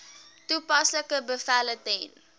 toepaslike bevele ten